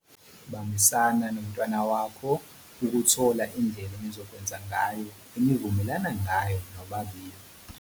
Bambisana nomntwana wakho ukuthola indlela enizokwenza ngayo enivumelana ngayo nobabili.